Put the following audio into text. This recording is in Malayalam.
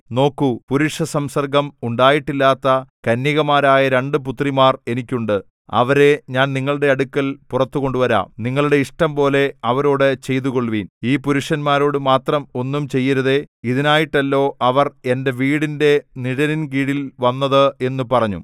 നോക്കൂ പുരുഷസംസർഗം ഉണ്ടായിട്ടില്ലാത്ത കന്യകമാരായ രണ്ട് പുത്രിമാർ എനിക്കുണ്ട് അവരെ ഞാൻ നിങ്ങളുടെ അടുക്കൽ പുറത്തു കൊണ്ടുവരാം നിങ്ങളുടെ ഇഷ്ടംപോലെ അവരോട് ചെയ്തുകൊൾവിൻ ഈ പുരുഷന്മാരോടു മാത്രം ഒന്നും ചെയ്യരുതേ ഇതിനായിട്ടല്ലോ അവർ എന്റെ വീടിന്റെ നിഴലിൽ കീഴിൽ വന്നത് എന്നു പറഞ്ഞു